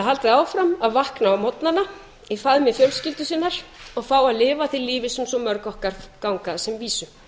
haldið áfram að vakna á morgnana í faðmi fjölskyldu sinnar og fá að lifa því lífi sem svo mörg okkar ganga að sem vísu